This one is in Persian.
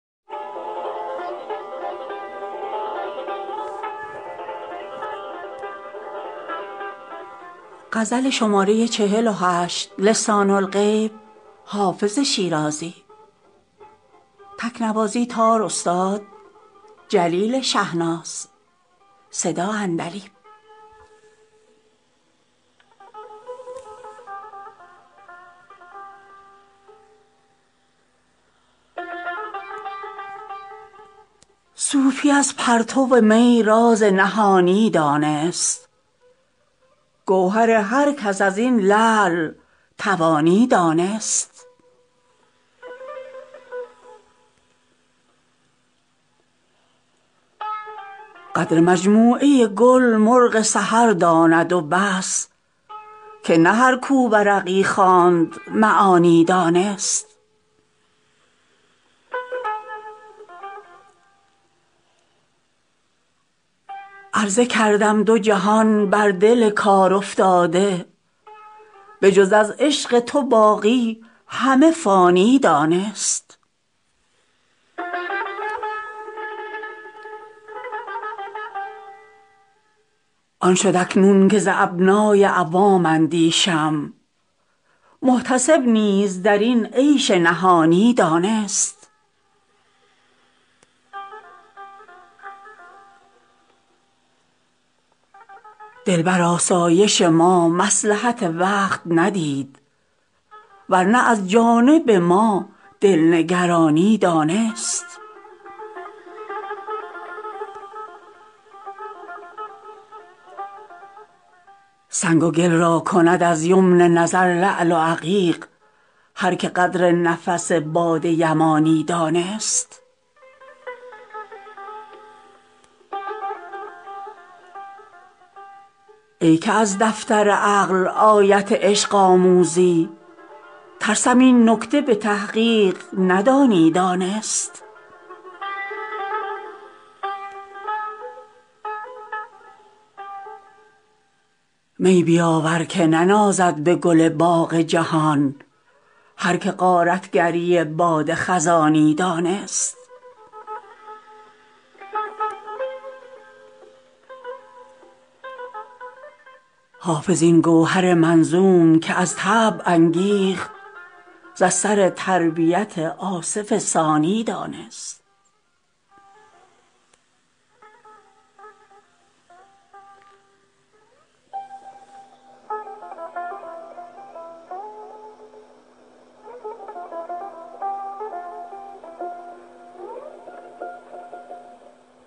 صوفی از پرتو می راز نهانی دانست گوهر هر کس از این لعل توانی دانست قدر مجموعه گل مرغ سحر داند و بس که نه هر کو ورقی خواند معانی دانست عرضه کردم دو جهان بر دل کارافتاده به جز از عشق تو باقی همه فانی دانست آن شد اکنون که ز ابنای عوام اندیشم محتسب نیز در این عیش نهانی دانست دل بر آسایش ما مصلحت وقت ندید ور نه از جانب ما دل نگرانی دانست سنگ و گل را کند از یمن نظر لعل و عقیق هر که قدر نفس باد یمانی دانست ای که از دفتر عقل آیت عشق آموزی ترسم این نکته به تحقیق ندانی دانست می بیاور که ننازد به گل باغ جهان هر که غارت گری باد خزانی دانست حافظ این گوهر منظوم که از طبع انگیخت ز اثر تربیت آصف ثانی دانست